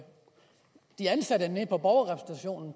de ansatte